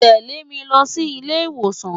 Tẹ̀lé mi lọ sí ilé ìwòsàn!